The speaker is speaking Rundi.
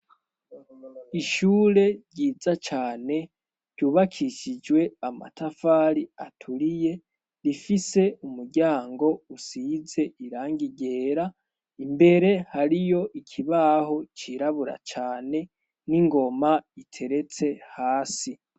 Ishure ryiza cane ryubakishijwe amatafari aturiye, rifise umuryango usize irangi ryera imbere hariyo ikibaho cirabura cyane n'ingoma iteretse hasi.